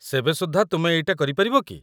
ସେବେ ସୁଦ୍ଧା ତୁମେ ଏଇଟା କରିପାରିବ କି?